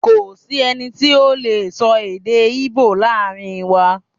Ko si ẹni ti o lee sọ èdè ibo laarin wa